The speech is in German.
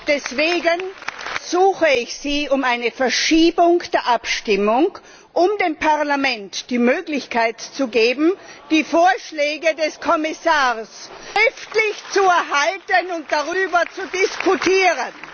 Deswegen ersuche ich Sie um eine Verschiebung der Abstimmung, um dem Parlament die Möglichkeit zu geben, die Vorschläge des Kommissars schriftlich zu erhalten und darüber zu diskutieren.